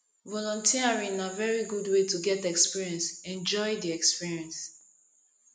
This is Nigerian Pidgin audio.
volunteering na very good way to get experience enjoy di experience